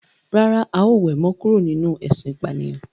Rárá, a ó we mo kúrò nínú ésun ìpànìyàn